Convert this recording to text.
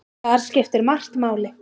Þar skiptir margt máli.